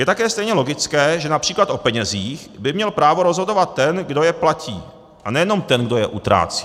Je také stejně logické, že například o penězích by měl právo rozhodovat ten, kdo je platí, a nejenom ten, kdo je utrácí.